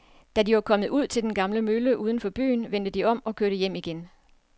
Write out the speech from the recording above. Da de var kommet ud til den gamle mølle uden for byen, vendte de om og kørte hjem igen.